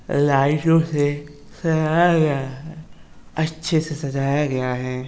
लाइटो से सजा या गया है। अच्छे से सजा या गया है।